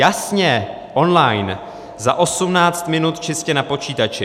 Jasně, online, za 18 minut čistě na počítači.